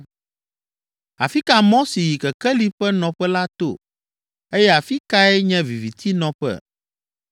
“Afi ka mɔ si yi kekeli ƒe nɔƒe la to? Eye afi kae nye viviti nɔƒe?